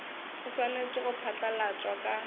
o swanetše go phatlalatšwa ka